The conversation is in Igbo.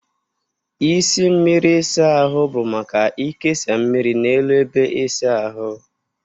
Isi mmiri ịsa ahụ bụ maka ikesa mmiri n'elu ebe ịsa ahụ.